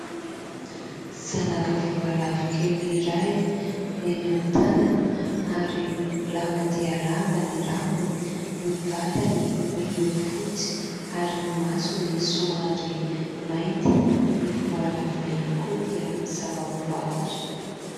Zanaka voalavo kely iray eny amin'ny tanana ary lava dia lava ny rambony. Ny vatany miloko fotsy ary ny masony somary mainty. Ny voalavo ihany koa dia zava-boahary.